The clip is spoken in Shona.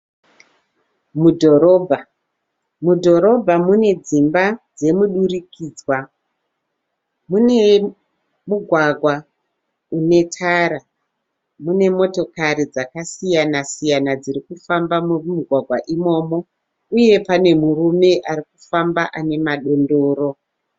Mudhorobha. mudhorobha mune dzimba dzemudurikidzwa, mune mugwagwa une tara mune motokari dzakasiyana siyana dzirikufamba mumugwagwa imomo. uye pane murume arikufamba ane madondoro.